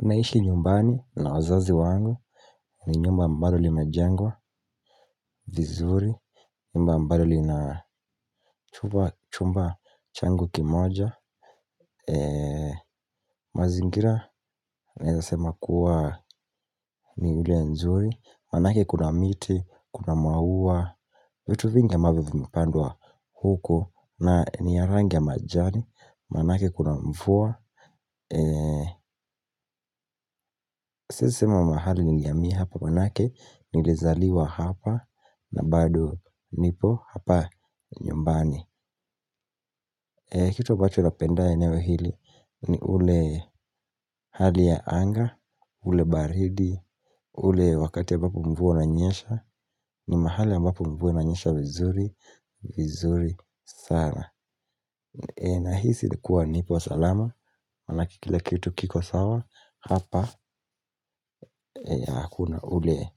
Naishi nyumbani na wazazi wangu. Ni nyumba ambalo limejengwa, vizuri. Ni nyumba ambalo lina chumba changu kimoja. Mazingira naeza sema kuwa ni ule nzuri. Manake kuna miti, kuna maua vitu vingi ambayvo vimepandwa huku. Na ni ya rangi ya majani, manake kuna mfuwa. Siezi sema mahali nilihamia hapa, manake nilizaliwa hapa. Na bado nipo hapa nyumbani. Kitu ambacho napenda eneo hili ni ule hali ya anga. Ule baridi ule wakati ambapo mvua unanyesha. Ni mahali ambapo mvua inanyesha vizuri. Vizuri sana. Nahisi ilikuwa nipo salama. Manake kila kitu kiko sawa. Hapa hakuna ule